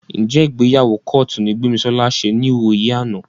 Ǹjẹ́ ìgbéyàwó kọ́ọ̀tù ni Gbémisọ́lá ṣe níwòyí àná?